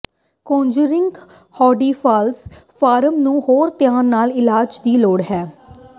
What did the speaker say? ਕੌਨਜਰੈਨੀਿਲ hydrocephalus form ਨੂੰ ਹੋਰ ਧਿਆਨ ਨਾਲ ਇਲਾਜ ਦੀ ਲੋੜ ਹੈ